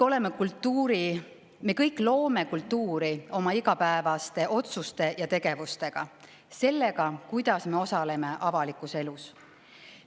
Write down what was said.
Me kõik loome kultuuri oma igapäevaste otsuste ja tegevustega, sellega, kuidas me osaleme avalikus elus.